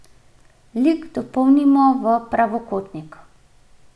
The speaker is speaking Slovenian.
Lik dopolnimo v pravokotnik.